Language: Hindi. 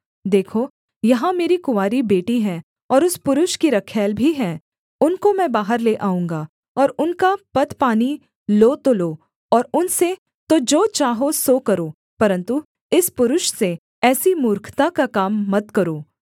देखो यहाँ मेरी कुँवारी बेटी है और उस पुरुष की रखैल भी है उनको मैं बाहर ले आऊँगा और उनका पतपानी लो तो लो और उनसे तो जो चाहो सो करो परन्तु इस पुरुष से ऐसी मूर्खता का काम मत करो